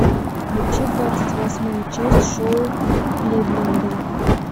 включи двадцать восьмая часть шоу кливленда